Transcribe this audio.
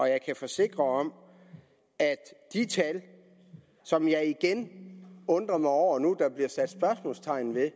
jeg kan forsikre om at de tal som jeg igen undrer mig over at der nu bliver sat spørgsmålstegn ved er